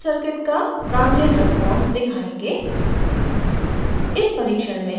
अब हम rl circuit का transient response दिखायेंगे